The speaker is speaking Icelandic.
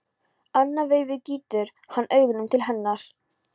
Annað veifið gýtur hann augunum til hennar.